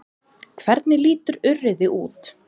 Hvernig lítur urriði út?